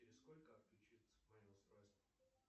через сколько отключится мое устройство